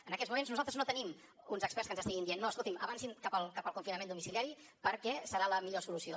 en aquests moments nosaltres no tenim uns experts que ens estiguin dient no escoltin avancin cap al confinament domiciliari perquè serà la millor solució